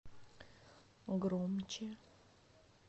громче